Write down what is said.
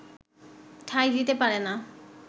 ঠাঁই দিতে পারে না